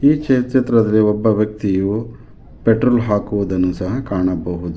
ಈ ಚಿತ್ರದಲ್ಲಿ ಒಬ್ಬ ವ್ಯಕ್ತಿಯು ಪೆಟ್ರೋಲ್ ಹಾಕುವುದನ್ನ ಕಾಣಬಹುದು.